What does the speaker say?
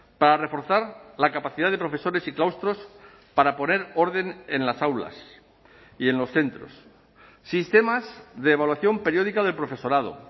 para reforzar la capacidad de profesores y claustros para poner orden en las aulas y en los centros sistemas de evaluación periódica del profesorado